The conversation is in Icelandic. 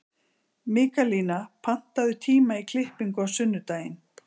Mikaelína, pantaðu tíma í klippingu á sunnudaginn.